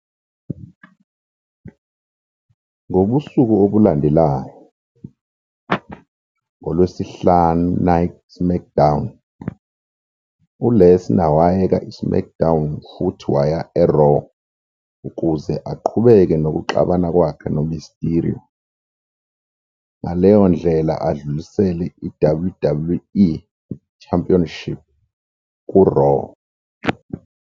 Ngobusuku obulandelayo "ngoLwesihlanu Night SmackDown", U-Lesnar wayeka i-SmackDown futhi waya e-Raw ukuze aqhubeke nokuxabana kwakhe noMysterio, ngaleyo ndlela adlulisele i-WWE Championship ku-Raw.